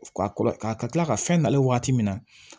Ka kila ka fɛn dalen waati min na